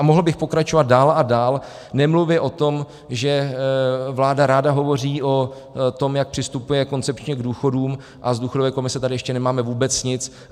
A mohl bych pokračovat dál a dál, nemluvě o tom, že vláda ráda hovoří o tom, jak přistupuje koncepčně k důchodům, a z důchodové komise tady ještě nemáme vůbec nic.